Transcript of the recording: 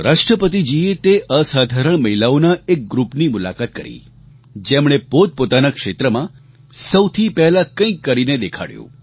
રાષ્ટ્રપતિજીએ તે અસાધારણ મહિલાઓના એક ગ્રૂપની મુલાકાત કરી જેમણે પોતપોતાનાં ક્ષેત્રમાં સૌથી પહેલાં કંઈક કરીને દેખાડ્યું